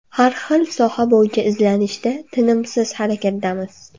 Har bir soha bo‘yicha izlanishda, tinimsiz harakatdamiz.